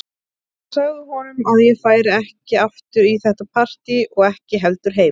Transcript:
Ég sagði honum að ég færi ekki aftur í þetta partí og ekki heldur heim.